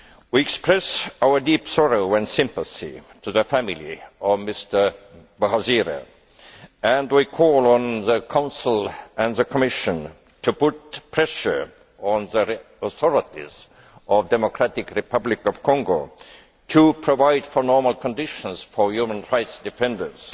We express our deep sorrow and sympathy to the family of Mr Bahizire and we call on the Council and the Commission to put pressure on the authorities of the Democratic Republic of Congo to provide for normal conditions for human rights defenders